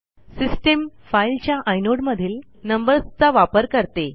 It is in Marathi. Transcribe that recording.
सिस्टीम फाईलच्या आयनोडमधील नंबर्सचा वापर करते